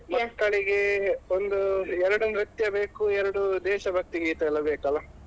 ಮಕ್ಕಳಿಗೆ ಒಂದು ಎರಡು ನೃತ್ಯ ಬೇಕು, ಎರಡು ದೇಶಭಕ್ತಿಗೀತೆ ಎಲ್ಲ ಬೇಕಲ್ಲಾ.